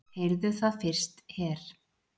Heyrðuð það fyrst her!